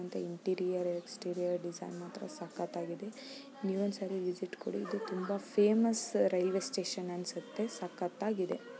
ಇದು interior exterior design ಮಾತ್ರ ಸಕ್ಕತಾಗಿದೆ ನೀವೊಂದ್ ಸರಿ ವಿಸಿಟ್ ಕೊಡಿ ಇದು ಫೇಮಸ್ ರೈಲ್ವೆ ಸ್ಟೇಷನ್ ಅನ್ಸುತ್ತೆ ಸಕ್ಕತಾಗಿದೆ.